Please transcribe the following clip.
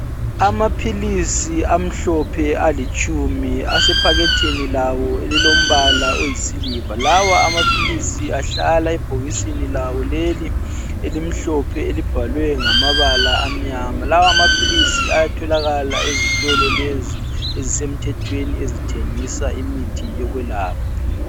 Amaphilisi amhlophe alitshumi. Asephakethini lawo elilombala oyisiliva. Lawa amaphilisi ahlala ebhokisini lawo leli elimhlophe, elibhalwe ngamabala amnyama .Lawamaphilisi ayatholakala ezitolo lezo ezisemthethweni, ezithengisa imithi yolwelapha.